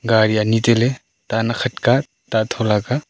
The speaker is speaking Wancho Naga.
gari ani tailey ta nak khat ka. ta thola ka ta.